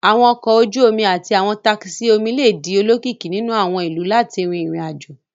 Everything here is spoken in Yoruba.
Àwọn ọkọ̀ ojú omi àti àwọn takisí omi lè di olókìkí nínú àwọn ìlú láti rin ìrìn-àjò